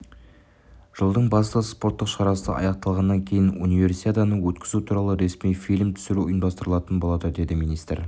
жылдың басты спорттық шарасы аяқталғаннан кейін универсиаданы өткізу туралы ресми фильм түсіру ұйымдастырылатын болады деді министр